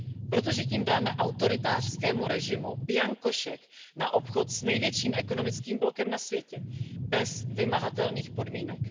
Protože tím dáme autoritářskému režimu bianko šek na obchod s největším ekonomickým blokem na světě bez vymahatelných podmínek.